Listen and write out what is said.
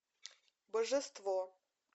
божество